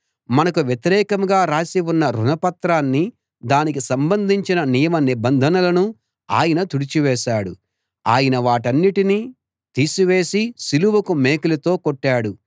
మనకు వ్యతిరేకంగా రాసి ఉన్న రుణపత్రాన్నీ దానికి సంబంధించిన నియమ నిబంధనలనూ ఆయన తుడిచివేశాడు ఆయన వాటన్నిటినీ తీసివేసి సిలువకు మేకులతో కొట్టాడు